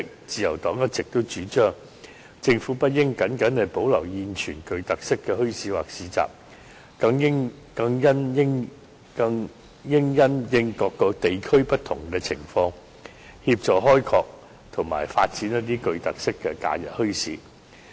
自由黨一直主張，政府不應僅僅保留現存的特色墟市或市集，更應因應各個地區不同的情況，協助開拓及發掘一些別具特色的假日墟市。